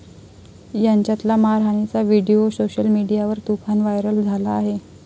यांच्यातला मारहाणीचा video social मीडियावर तुफान व्हायरल झाला आहे.